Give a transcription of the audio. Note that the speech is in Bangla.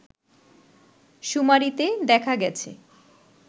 শুমারিতে দেখা গেছে